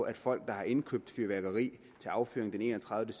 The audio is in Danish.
at folk der har indkøbt fyrværkeri til affyring den enogtredivete